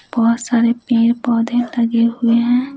बहुत सारे पैर पौधे लगे हुए हैं।